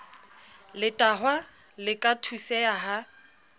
letahwa le ka thuseha ha